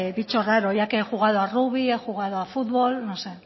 bicho raro ya que he jugado a rugby a futbol no sé